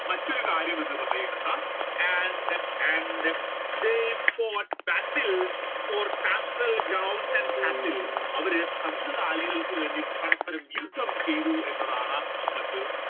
മറ്റൊരു കാര്യം എന്ന് പറയുന്നത് and, and they for battle for ground and cattle അവർ കന്നുകാലികൾക്ക് വേണ്ടി പരസ്പരം യുദ്ധം ചെയ്തു എന്നതാണ് മറ്റു